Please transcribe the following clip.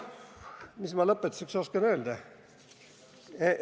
Mis ma lõpetuseks oskan öelda?